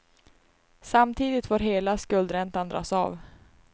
Samtidigt får hela skuldräntan dras av.